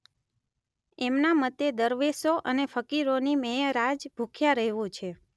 એમના મતે દરવેશો અને ફકીરોની મેઅરાજ ભુખ્યા રહેવું છે.